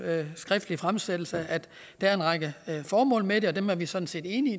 skriftlige fremsættelse at der er en række formål med det og dem er vi sådan set enige